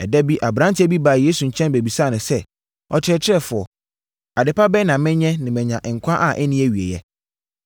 Ɛda bi aberanteɛ bi baa Yesu nkyɛn bɛbisaa no sɛ, “Ɔkyerɛkyerɛfoɔ, adepa bɛn na menyɛ na manya nkwa a ɛnni awieeɛ?”